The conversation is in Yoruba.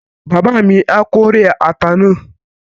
Bàbá mi á kórè ata náà